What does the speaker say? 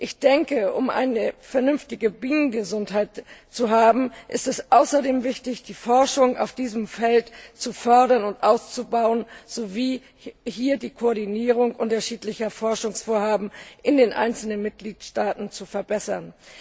Ich denke, um eine vernünftige Bienengesundheit zu haben, ist es außerdem wichtig, die Forschung auf diesem Feld zu fördern und auszubauen sowie die Koordinierung unterschiedlicher Forschungsvorhaben in den einzelnen Mitgliedstaaten zu verbessern.